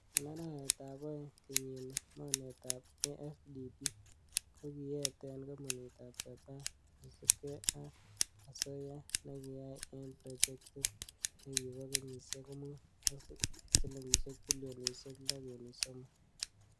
En arawetab oeng kenyini, Mornetab AfDB kokiyeten kompunit Japan kosiibge am asoya nekiyai en projectit nekibo kenyisiek mut ak silingisiek bilionisiek loo kenuch somok.